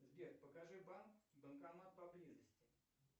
сбер покажи банк банкомат поблизости